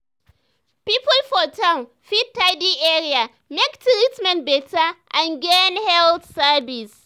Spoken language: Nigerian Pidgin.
people for town fit tidy area make treatment better and gain health service.